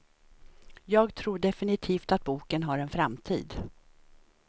Jag tror definitivt att boken har en framtid.